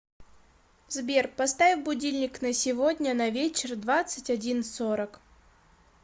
сбер поставь будильник на сегодня на вечер двадцать один сорок